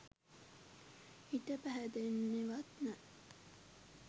හිත පැහැදෙන්නෙවත් නෑ